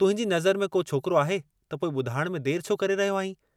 तुहिंजी नज़र में को छोकिरो आहे त पोइ ॿुधाइण में देर छो करे रहियो आंहीं।